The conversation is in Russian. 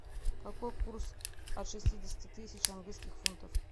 какой курс от шестидесяти тысяч английских фунтов